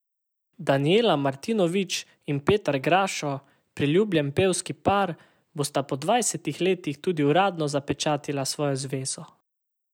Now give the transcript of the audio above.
Danijela Martinović in Petar Grašo, priljubljen pevski par, bosta po dvajsetih letih tudi uradno zapečatila svojo zvezo.